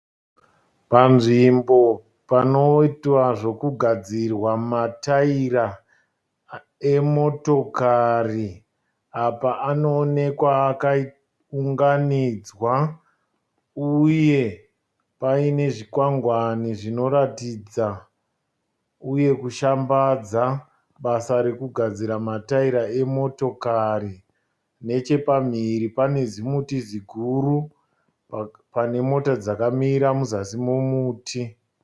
Panzvimbo panoitiwa zvokugadzirwa mataira emotokari apa anoonekwa akaunganidzwa uye pane zvikwangwani zvinotaridza uye zvinoshambadza basa rokugadzira mataira emotokari. Nechepamhiri pane zimuti ziguru pane mota dzakamira muzasi momuti.